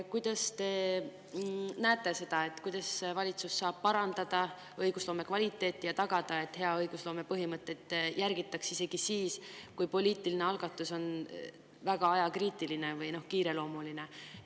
Kuidas te näete, kuidas valitsus saab parandada õigusloome kvaliteeti ja tagada, et hea õigusloome põhimõtteid järgitaks isegi siis, kui poliitiline algatus on väga ajakriitiline ehk kiireloomuline?